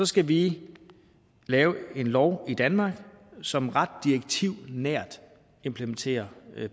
skal vi lave en lov i danmark som ret direktivnært implementerer